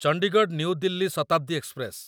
Chandigarh new Delhi Shatabdi express